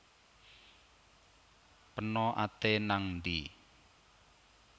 Peno ate nang ndhi